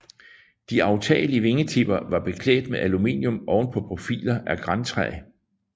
De aftagelige vingetipper var beklædt med aluminium oven på profiler af grantræ